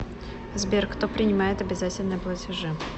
сбер кто принимает обязательные платежи